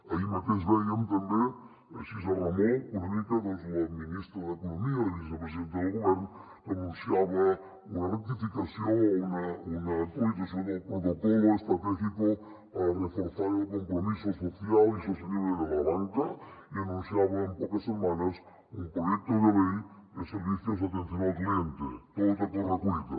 ahir mateix vèiem també així a remolc una mica doncs la ministra d’economia i vicepresidenta del govern que anunciava una rectificació o una actualització del protocolo estratégico para reforzar el compromiso social y sostenible de la banca i anunciava per d’aquí poques setmanes un proyecto de ley de servicios de atención al cliente tot a correcuita